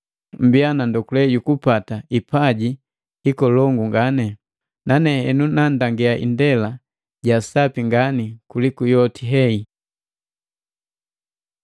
Mmbiya na ndokule jukupata hipaji hikolongu ngani. Nane henu nandangia indela ja sapi ngani kuliku yoti hei.